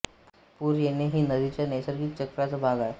पूर येणे ही नदीच्या नैसर्गिक चक्राचा भाग आहे